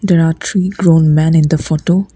there are three grown man in the photo.